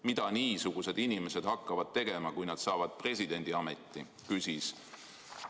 Mida niisugused inimesed hakkavad tegema, kui nad saavad presidendiameti?